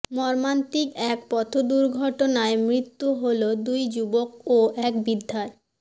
মর্মান্তিক এক পথদুর্ঘটনায় মৃত্যু হল দুই যুবক ও এক বৃদ্ধার